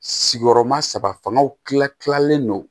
Sigiyɔrɔma saba fangaw kila kilalen don